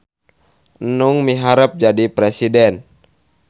Enung miharep jadi presiden